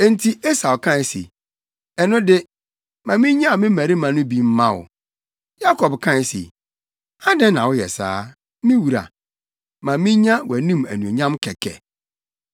Enti Esau kae se, “Ɛno de, ma minnyaw me mmarima no bi mma wo.” Yakob kae se, “Adɛn na woyɛ saa? Me wura, ma minya wʼanim anuonyam kɛkɛ.”